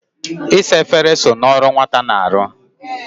Isa efere so n'ọrụ nwata na-arụ.